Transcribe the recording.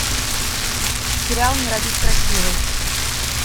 сериал не родись красивой